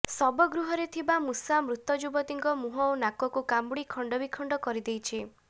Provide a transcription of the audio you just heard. ଶବଗୃହରେ ଥିବା ମୂଷା ମୃତ ଯୁବତୀଙ୍କ ମୁହଁ ଓ ନାକକୁ କାମୁଡି ଖଣ୍ଡବିଖଣ୍ଡ କରି ଦେଇଛନ୍ତି